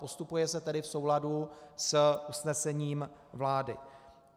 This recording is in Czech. Postupuje se tedy v souladu s usnesením vlády.